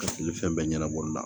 Ka fili fɛn bɛɛ ɲɛnabɔli la